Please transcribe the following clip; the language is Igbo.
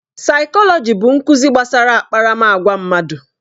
Saikolọji bụ nkuzi gbasara akparamagwa mmadụ.